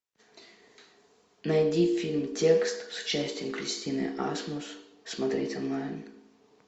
найди фильм текст с участием кристины асмус смотреть онлайн